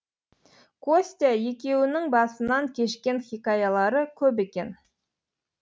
костя екеуінің басынан кешкен хикаялары көп екен